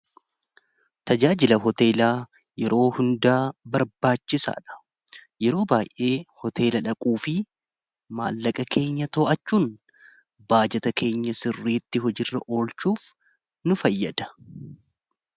tajaajila hoteelaa yeroo hundaa barbaachisaa dha yeroo baay'ee hoteela dhaquu fi maallaqa keenya too'achuun baajata keenya sirriitti hojirra oolchuuf nu fayyada